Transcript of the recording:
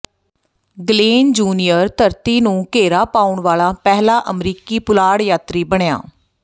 Glen junior ਧਰਤੀ ਨੂੰ ਘੇਰਾ ਪਾਉਣ ਵਾਲਾ ਪਹਿਲਾ ਅਮਰੀਕੀ ਪੁਲਾੜ ਯਾਤਰੀ ਬਣਿਆ